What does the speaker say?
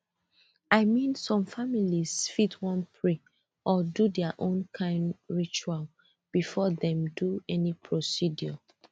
i mean some families fit wan pray or do their own kind ritual before dem do any procedure